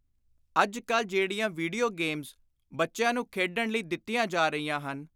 ਅੱਜ ਕਲ ਜਿਹੜੀਆਂ ਵੀਡੀਓ ਗੇਮਜ਼ ਬੱਚਿਆਂ ਨੂੰ ਖੇਡਣ ਲਈ ਦਿੱਤੀਆਂ ਜਾ ਰਹੀਆਂ ਹਨ,